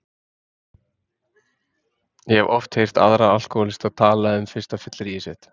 Ég hef oft heyrt aðra alkóhólista tala um fyrsta fylliríið sitt.